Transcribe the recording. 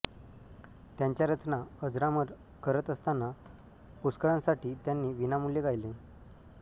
त्यांच्या रचना अजरामर करत असताना पुष्कळांसाठी त्यांनी विनामूल्य गायले